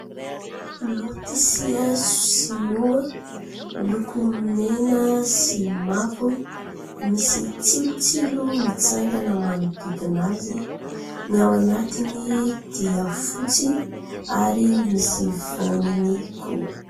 Lotisia sinoa miloko mena sy mavo, misy tsilotsilo mitsangana manodidina azy. Ny ao anatiny dia fotsy ary misy voany koa.